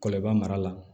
Kɔlɔn i b'a mara